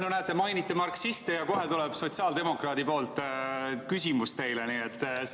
No näete, mainiti marksiste ja kohe tuleb teile küsimus sotsiaaldemokraadilt.